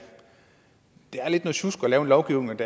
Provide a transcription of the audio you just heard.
lidt noget sjusk at lave en lovgivning